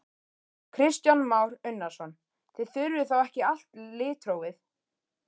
Kristján Már Unnarsson: Þið þurfið þá ekki allt litrófið?